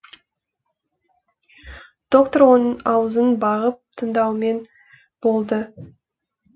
доктор оның аузын бағып тыңдаумен болды